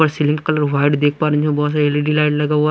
Ceiling colour white देख पा रहे हैं जहाँ बहुत सारी एल_ ई_ डी_ लाइट लगा हुआ है।